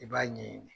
I b'a ɲɛɲini